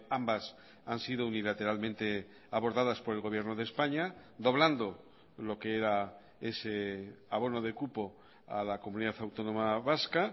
ambas han sido unilateralmente abordadas por el gobierno de españa doblando lo que era ese abono de cupo a la comunidad autónoma vasca